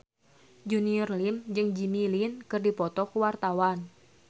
Junior Liem jeung Jimmy Lin keur dipoto ku wartawan